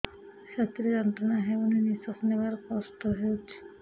ଛାତି ରେ ଯନ୍ତ୍ରଣା ହେଉଛି ନିଶ୍ଵାସ ନେବାର କଷ୍ଟ ହେଉଛି